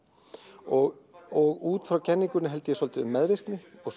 og út frá kenningunni held ég svolítið um meðvirkni og